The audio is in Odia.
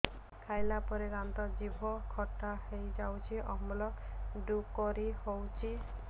ଖାଇଲା ପରେ ଦାନ୍ତ ଜିଭ ଖଟା ହେଇଯାଉଛି ଅମ୍ଳ ଡ଼ୁକରି ହଉଛି